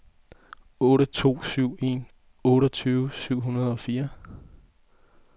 otte to syv en otteogtyve syv hundrede og fire